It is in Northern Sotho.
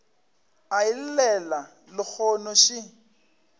a e llela lehono še